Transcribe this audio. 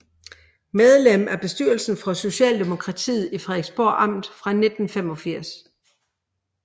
Medlem af bestyrelsen for Socialdemokratiet i Frederiksborg Amt fra 1985